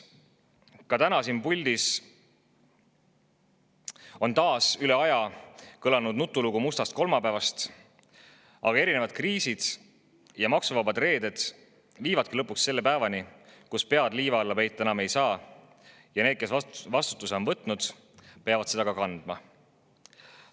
Ka täna siin puldis kõlas taas üle aja nutulugu mustast kolmapäevast, aga erinevad kriisid ja maksuvabad reeded viivadki lõpuks selle päevani, kui pead liiva alla peita enam ei saa ja need, kes vastutuse on võtnud, peavad seda ka kandma.